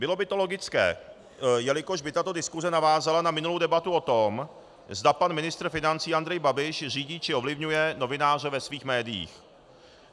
Bylo by to logické, jelikož by tato diskuse navázala na minulou debatu o tom, zda pan ministr financí Andrej Babiš řídí či ovlivňuje novináře ve svých médiích.